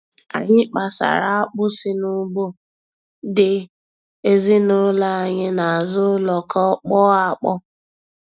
Anyị kpasara akpụ si n'ugbo dị ezinụlọ anyị n'azụ ụlọ ka ọ kpọọ akpọọ.